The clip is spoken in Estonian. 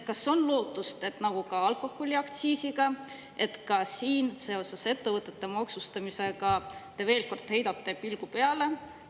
Kas on lootust, et nagu alkoholiaktsiisi puhul, te ka ettevõtete maksustamisele veel kord heidate pilgu peale?